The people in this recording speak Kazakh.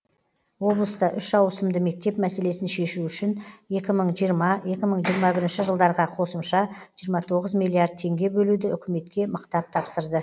облыста үш ауысымды мектеп мәселесін шешу үшін екі мың жиырма екі мың жиырма бірінші жылдарға қосымша жиырма тоғыз миллиард теңге бөлуді үкіметке мықтап тапсырды